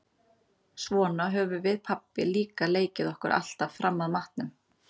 Svona höfðum við pabbi líka leikið okkur alltaf fram að matnum.